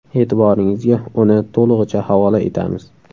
E’tiboringizga uni to‘lig‘icha havola etamiz.